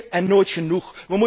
meer en nooit genoeg.